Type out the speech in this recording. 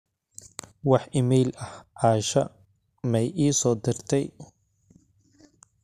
wax imayl ah asha may isoo dirtay